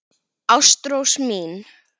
Ástrós mín.